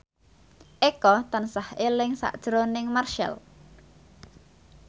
Eko tansah eling sakjroning Marchell